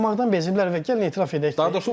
Uduzmaqdan beziblər və gəlin etiraf edək.